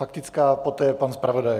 Faktická, poté pan zpravodaj.